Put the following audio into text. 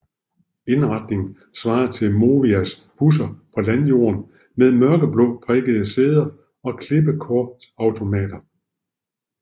Indretningen svarede til Movias busser på landjorden med mørkeblå prikkede sæder og klippekortautomater